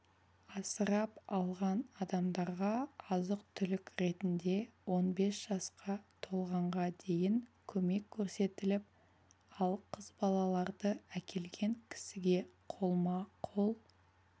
асырап алған адамдарға азық-түлік ретінде он бес жасқа толғанға дейін көмек көрсетіліп ал қыз балаларды әкелген кісіге қолма-қол